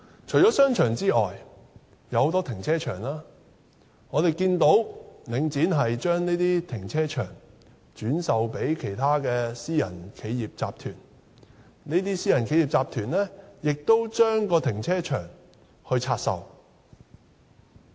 除了商場外，我們看到領展把很多停車場轉售予其他私人企業集團，而這些私人企業集團再把停車場拆售。